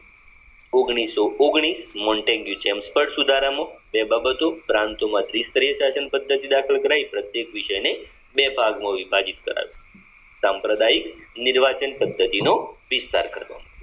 ઓગણીસો ઓગણીસ Montagu Chelmsford સુધારામાં તે બાબતો પ્રાંતોમાંથી પદ્ધતિ દાખલ કરાઈ પ્રત્યેક વિષય ને બે ભાગ માં વિભાજીત કરાવી સંપ્રદાય નિર્વાચન પદ્ધતિનો વિસ્તાર કરતો